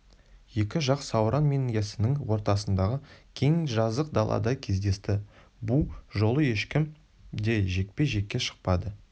екі жақ сауран мен яссының ортасындағы кең жазық далада кездесті бұ жолы ешкім де жекпе-жекке шықпады